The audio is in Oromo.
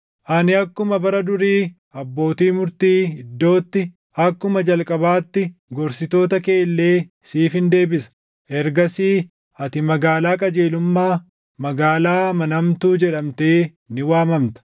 Ani akkuma bara durii abbootii murtii iddootti, akkuma jalqabaatti gorsitoota kee illee siifin deebisa. Ergasii ati magaalaa qajeelummaa, magaalaa amanamtuu jedhamtee ni waamamta.”